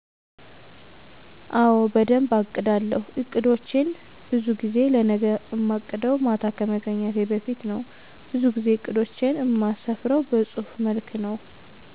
አወ በደንብ አቅዳለው። አቅዶቸን በዙ ጊዜ ለነገ እማቅደው ማታ ከመተኛቴ በፊት ነው በዙ ጊዜ እቅዶቸን እማስፍርው በጹህፍ መልክ ነው።